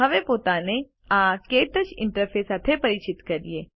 હવે પોતાને આ ક્ટચ ઇન્ટરફેસ સાથે પરિચિત કરીએ